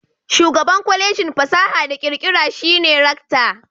Shugaban Kwalejin fasaha da kirkira shi ne rakta.